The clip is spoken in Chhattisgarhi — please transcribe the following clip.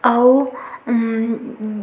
अउ उम उम--